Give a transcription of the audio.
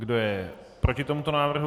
Kdo je proti tomuto návrhu?